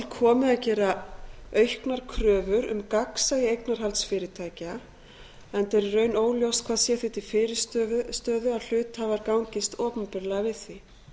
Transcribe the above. komið að gera auknar kröfur um gagnsæi eignarhalds fyrirtækja enda er í raun óljóst hvað sé því til fyrirstöðu að hluthafar gangist opinberlega við því